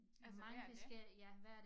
Altså hver dag?